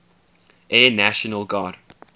air national guard